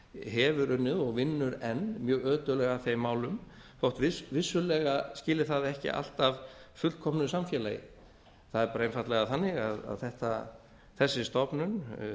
hefur unnið og vinnur enn mjög ötullega að þeim málum þó vissulega skili það ekki alltaf fullkomnu samfélagi það er einfaldlega þannig að þessi stofnun